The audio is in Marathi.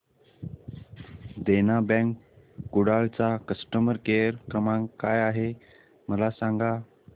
देना बँक कुडाळ चा कस्टमर केअर क्रमांक काय आहे मला सांगा